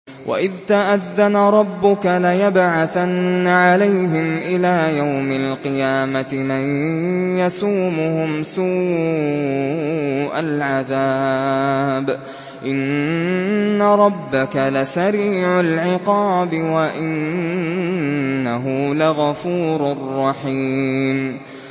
وَإِذْ تَأَذَّنَ رَبُّكَ لَيَبْعَثَنَّ عَلَيْهِمْ إِلَىٰ يَوْمِ الْقِيَامَةِ مَن يَسُومُهُمْ سُوءَ الْعَذَابِ ۗ إِنَّ رَبَّكَ لَسَرِيعُ الْعِقَابِ ۖ وَإِنَّهُ لَغَفُورٌ رَّحِيمٌ